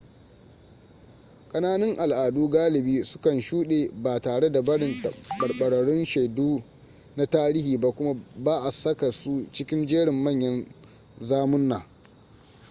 kananun al'adu galibi su kan shuɗe ba tare da barin tabbatattun shaidu na tarihi ba kuma ba a saka su cikin jerin manyan zamunna